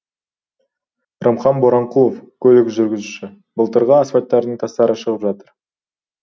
рымхан боранқұлов көлік жүргізушісі былтырғы асфальттардың тастары шығып жатыр